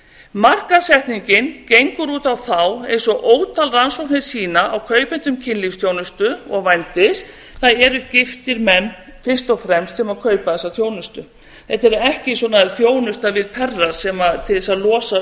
markaðssetningin gengur út á þá eins og ótal rannsóknir sýna á kaupendum kynlífsþjónustu og vændis það eru giftir menn fyrst og fremst sem kaupa þessa þjónustu þetta er ekki svona þjónusta við perra til þess að losa